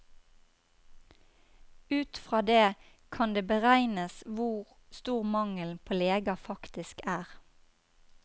Ut fra det, kan det beregnes hvor stor mangelen på leger faktisk er.